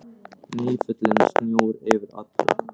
Nýfallinn snjór yfir öllu.